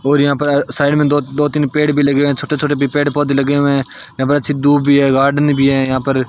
और यहां पर साइड में दो दो तीन पेड़ भी लगे है छोटे छोटे भी पेड़ पौधे लगे हुए है यहां पर अच्छी दूब भी है गार्डन भी है यहां पर --